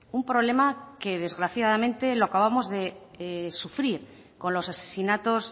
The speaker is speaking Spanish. un problema que desgraciadamente lo acabamos de sufrir con los asesinatos